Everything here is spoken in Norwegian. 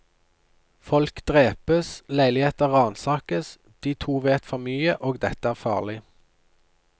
Folk drepes, leiligheter ransakes, de to vet for mye, og dette er farlig.